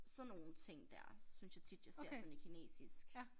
Sådan nogle ting dér synes jeg tit jeg ser sådan i kinesisk